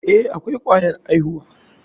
Eh, akwai kwayar aihuwa.